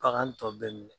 Bagan tɔ bɛɛ minɛ